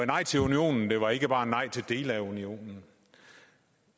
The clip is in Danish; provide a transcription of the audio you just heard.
nej til unionen det var ikke bare nej til dele af unionen